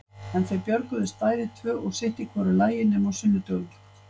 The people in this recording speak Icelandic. En þau björguðust bæði tvö og sitt í hvoru lagi nema á sunnudögum.